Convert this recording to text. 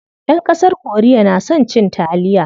Ƴan ƙasar korea na son cin taliya.